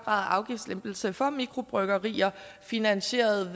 af afgiftslempelser for mikrobryggerier finansieret